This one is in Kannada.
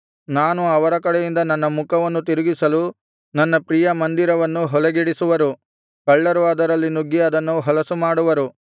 ನಾನು ಅವರ ಕಡೆಯಿಂದ ನನ್ನ ಮುಖವನ್ನು ತಿರುಗಿಸಲು ನನ್ನ ಪ್ರಿಯ ಮಂದಿರವನ್ನು ಹೊಲೆಗೆಡಿಸುವರು ಕಳ್ಳರು ಅದರಲ್ಲಿ ನುಗ್ಗಿ ಅದನ್ನು ಹೊಲಸುಮಾಡುವರು